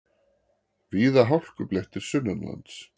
Víða hálkublettir sunnanlands